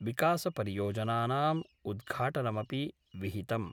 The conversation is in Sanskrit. विकासपरियोजनानाम् उद्घाटनमपि विहितम्।